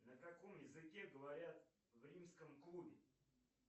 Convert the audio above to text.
на каком языке говорят в римском клубе